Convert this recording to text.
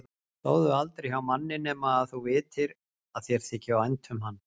Sofðu aldrei hjá manni nema að þú vitir að þér þyki vænt um hann